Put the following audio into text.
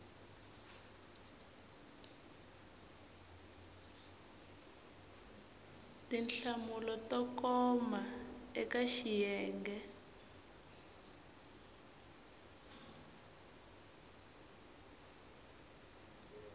tinhlamulo to koma eka xiyenge